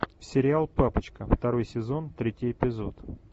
сериал папочка второй сезон третий эпизод